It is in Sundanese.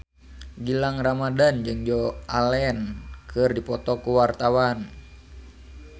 Gilang Ramadan jeung Joan Allen keur dipoto ku wartawan